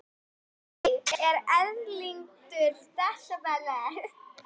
Spítalastíg, og Erlendur skilaði mér heim!